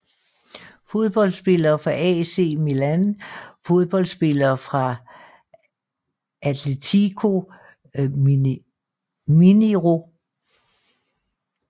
Fodboldspillere fra AC Milan Fodboldspillere fra Atletico Mineiro